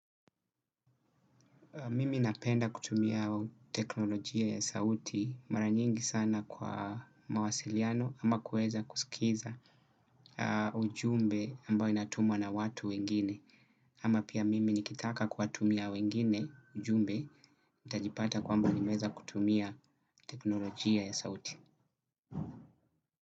Mimi napenda kutumia teknolojia ya sauti maranyingi sana kwa mawasiliano ama kuweza kusikiliza ujumbe ambao inatumwa na watu wengine. Ama pia mimi nikitaka kuwatumia wengine ujumbe, nitajipata kwamba limeweza kutumia tekinolojia ya sauti.